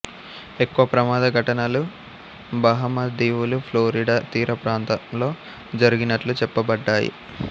ఎక్కువ ప్రమాద ఘటనలు బహామా దీవులు ఫ్లోరిడా తీర ప్రాంతంలో జరిగినట్లు చెప్పబడ్డాయి